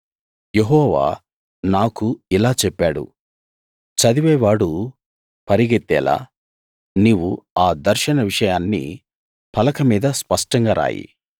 యెహోవా నాకు ఇలా చెప్పాడు చదివేవాడు పరిగెత్తేలా నీవు ఆ దర్శన విషయాన్ని పలక మీద స్పష్టంగా రాయి